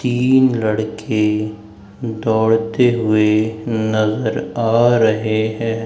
तीन लड़के दौड़ते हुए नजर आ रहे हैं।